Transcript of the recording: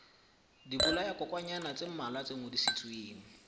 dibolayakokwanyana tse mmalwa tse ngodisitsweng